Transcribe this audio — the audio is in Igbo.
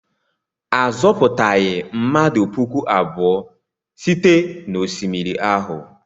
A zọpụtaghị mmadụ puku abụọ site n'osimiri ahụ.